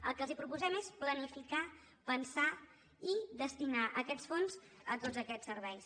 el que els proposem és planificar pensar i destinar aquests fons a tots aquests serveis